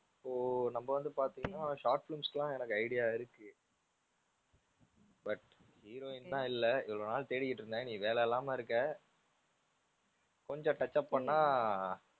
இப்போ நம்ம வந்து பாத்தீன்னா short films க்குலாம் எனக்கு idea இருக்கு but heroine தான் இல்ல. இவ்ளோ நாள் தேடிட்டு இருந்தேன் நீ வேலை இல்லாம இருக்க. கொஞ்சம் touch up பண்ணா,